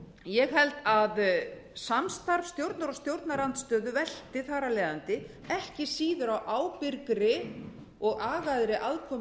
ég held að samstarf stjórnar og stjórnarandstöðu velti þar af leiðandi ekki síður á ábyrgri og agaðri aðkomu